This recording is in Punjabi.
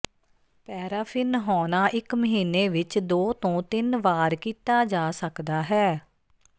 ਪੈਰਾਫ਼ਿਨ ਨਹਾਉਣਾ ਇੱਕ ਮਹੀਨੇ ਵਿੱਚ ਦੋ ਤੋਂ ਤਿੰਨ ਵਾਰ ਕੀਤਾ ਜਾ ਸਕਦਾ ਹੈ